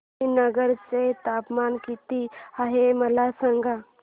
श्रीनगर चे तापमान किती आहे मला सांगा